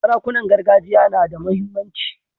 Sarakunan gargajiya na da muhimmanci.